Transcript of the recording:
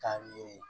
Ka ye